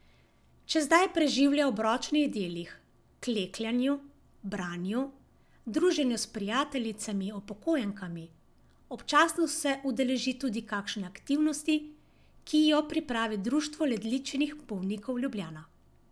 Čas zdaj preživlja ob ročnih delih, klekljanju, branju, druženju s prijateljicami upokojenkami, občasno se udeleži tudi kakšne aktivnosti, ki jo pripravi Društvo ledvičnih bolnikov Ljubljana.